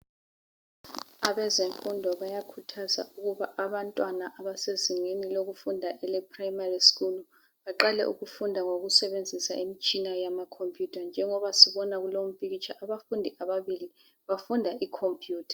Abezemfundo bayakhuthaza ukuba abantwana abasezingeni lokufunda, eleprimary school,, baqale ukufunda ngokusebenzisa imitshina yamacomputer. Njengoba sibona kulo, umpikitsha, abafundi ababili, bafunda icomputer.